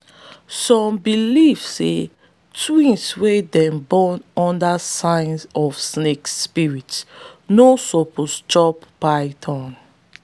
some believe say twins wey them born under sign of snake spirit no suppose chop python.